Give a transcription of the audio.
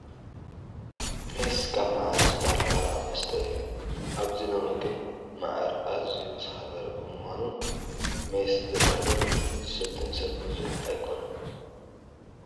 ሜስ ካብ መዓር ዝዳሎ ባህላዊ መስተ እዩ፡፡ ኣብዚ ሎሚ ግን መዓር ኣዝዩ ዝኸበረ ብምዃኑ ሜስ ዘዳሉን ዝሰትን ሰብ ብዙሕ ኣይኮነን፡፡